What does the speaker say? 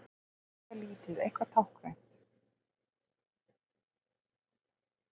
Bara eitthvað lítið, eitthvað táknrænt.